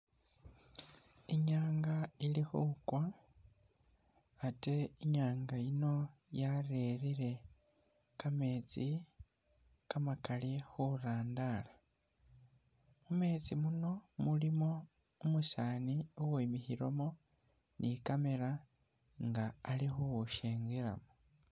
Inyanga ili khukwa ate inyanga yiino yarere kameetsi kamakaali ke'nyanza khurandara khumetsi khuno khulikho umusani uwimikhilekho ni camera nga Ali khukhushengelamo